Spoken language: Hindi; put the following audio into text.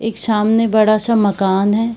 एक सामने बड़ा-सा मकान है।